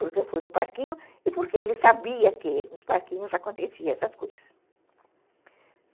Porque eu fui no parquinho e porque ele sabia que nos parquinhos aconteciam essas coisas.